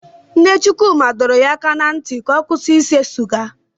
Nne Chukwuma dọrọ ya aka ná ntị ka ọ kwụsị ise siga.